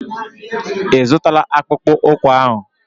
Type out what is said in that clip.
Ị zụtala akpụkpụ ụkwụ ahụ?